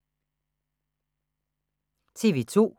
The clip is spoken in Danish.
TV 2